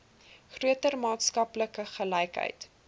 groter maatskaplike gelykheid